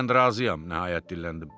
Mən razıyam, nəhayət dilləndim.